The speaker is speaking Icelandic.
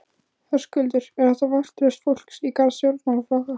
Höskuldur: Er þetta vantraust fólks í garð stjórnmálaflokka?